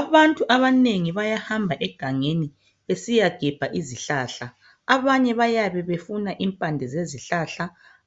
Abantu abanengi bayahamba egangeni besiyagebha izihlala. Abanye bayabe befuna impande zezihlahla